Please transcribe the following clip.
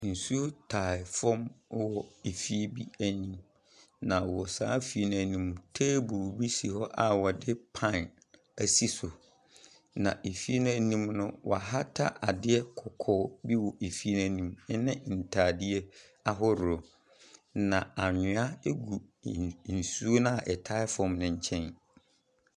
Nsuo tae fam hɔ wɔ efie bi anim, na wɔ saa fie no anim no, table bi si hɔ a wɔde pan asi so, na efie no anim no, wɔahata adeɛ kɔkɔɔ bi wɔ efie no anim ne ntadeɛ ahoroɔ, na anwea gu n nsuo no a ɛtae fam no nkyɛn.